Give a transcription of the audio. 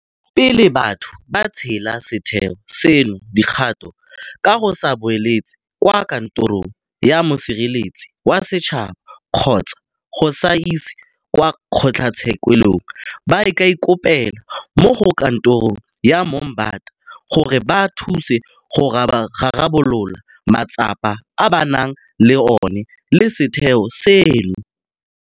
Pele batho ba tseela setheo seno dikgato ka go se buletsa kwa Kantorong ya Mosireletsi wa Setšhaba kgotsa go se isa kwa kgotlatshekelo, ba ka ikopela mo go Kantoro ya Moombata go ba thusa go rarabolola matsapa a ba nang le ona le setheo seno.